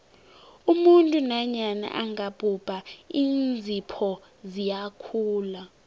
umuntu nanyana angabhubha iinzipho ziyakhula